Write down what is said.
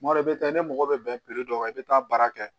Tuma dɔ i bɛ taa i mago bɛ bɛn dɔ kan i bɛ taa baara kɛ